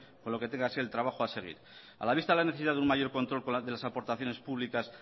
con lo que tenga que ser el trabajo a seguir a la vista dela necesidad de un mayor control por parte de las aportaciones públicas